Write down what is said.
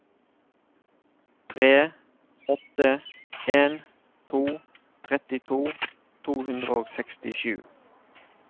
tre åtte en to trettito to hundre og sekstisju